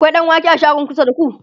akwai ɗanwake a shagon kusa da ku?